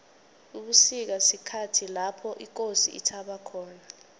ubusika sikhathi lapho ikosi ithaba khona